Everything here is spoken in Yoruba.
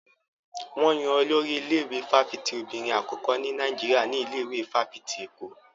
Wọn yan Olórí ilé-ìwé fáfitì obìnrin àkọ́kọ́ ní Nàìjíríà ní ilé ìwé fáfitì Èkó.